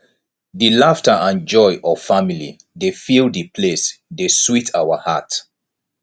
di laughter and joy of family dey fill di place dey sweet our heart